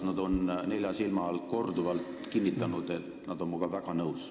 Nad on nelja silma all korduvalt kinnitanud, et nad on minuga väga nõus.